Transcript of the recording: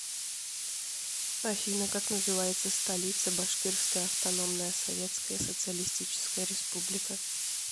афина как называется столица башкирская автономная советская социалистическая республика